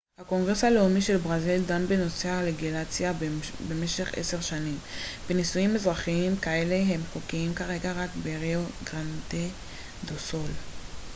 הקונגרס הלאומי של ברזיל דן בנושא הלגליזציה במשך 10 שנים ונישואים אזרחיים כאלה הם חוקיים כרגע רק בריו גרנדה דו סול